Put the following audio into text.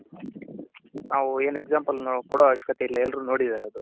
ನಾವು ಏನ್ example ಕೊಡ ಅವಶ್ಯಕತೆ ಇಲ್ಲ ಎಲ್ಲರೂ ನೋಡಿದಾರದು.